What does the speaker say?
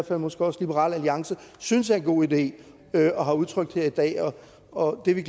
og måske også liberal alliance synes er en god idé og har udtrykt her i dag og vi vil